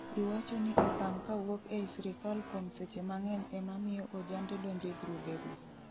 iwacho ni okang kawuok ei sirkal kuom seche mang'eny ema miyo ojande donje grubego